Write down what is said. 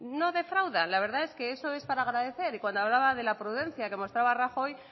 no defrauda la verdad que eso es para agradecer y cuando hablaba de la prudencia que mostraba rajoy